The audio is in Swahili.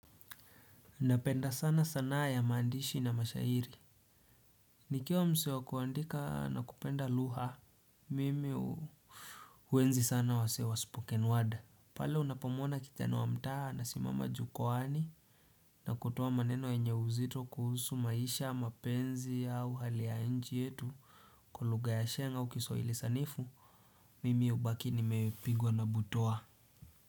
Napenda sana sanaa ya maandishi na mashairi. Nikiwa msee wa kuandika na kupenda lugha. Mimi huenzi sana wasee wa spoken word. Pale unapamuona kijana wa mtaa anasimama jukwani. Na kutoa maneno yenye uzito kuhusu maisha, mapenzi au hali ya nchi yetu. Kwa lugha ya sheng au kiswahili sanifu. Mimi hubaki nimepigwa na butwaa.